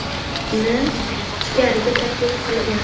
)ni ichkariga taklif qilgan.